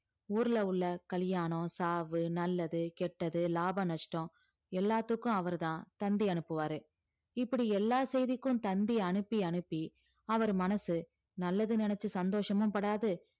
ஊர்ல உள்ள கல்யாணம், சாவு, நல்லது, கெட்டது, லாபம், நஷ்டம் எல்லாத்துக்கும் அவர்தான் தந்தி அனுப்புவாரு இப்படி எல்லா செய்திக்கும் தந்தி அனுப்பி அனுப்பி அவர் மனசு நல்லது நினைச்சு சந்தோஷமும்படாது